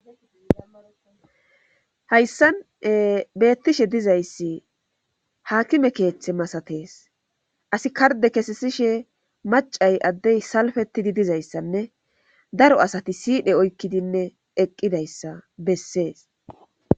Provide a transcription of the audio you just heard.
Hayssan beettishe dizayssi haakime keethe masatees asi kardde kessishe maccay addey salfettidi dizayssanne daro asya siidhe oykkidi dizayssa bessees.